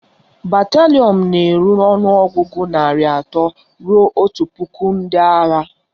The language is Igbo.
Batalịọn na-eru ọnụọgụgụ narị atọ ruo otu puku ndị agha